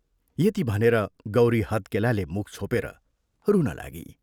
" यति भनेर गौरी हत्केलाले मुख छोपेर रुन लागी।